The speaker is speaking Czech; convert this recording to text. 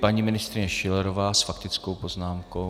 Paní ministryně Schillerová s faktickou poznámkou.